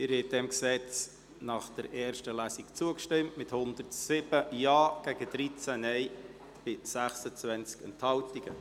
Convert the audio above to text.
Sie haben diesem Gesetz in erster Lesung zugestimmt mit 107 Ja- zu 13 Nein-Stimmen bei 26 Enthaltungen.